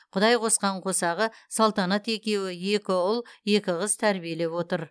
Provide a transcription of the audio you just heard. құдайқосқан қосағы салтанат екеуі екі ұл екі қыз тәрбиелеп отыр